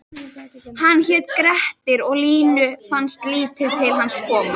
Hann hét Grettir og Línu fannst lítið til hans koma: